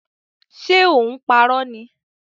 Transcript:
Ṣe ò ń parọ́ ni?